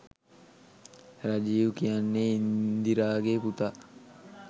රජිව් කියන්නේ ඉන්දිරාගේ පුතා.